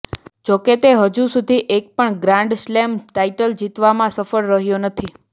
જોકે તે હજુ સુધી એક પણ ગ્રાન્ડ સ્લેમ ટાઇટલ જીતવામાં સફળ રહ્યો નથી